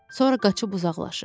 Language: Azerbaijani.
Sonra qaçıb uzaqlaşır.